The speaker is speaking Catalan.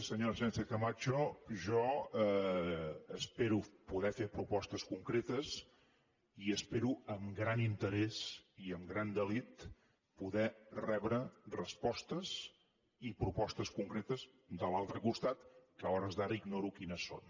senyora sánchez camacho jo espero poder fer propostes concretes i espero amb gran interès i amb gran delit poder rebre respostes i propostes concretes de l’altre costat que a hores d’ara ignoro quines són